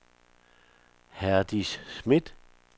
Herdis Smith